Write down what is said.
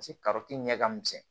ɲɛ ka misɛn